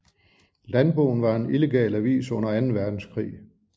Landboen var en illegal avis under anden verdenskrig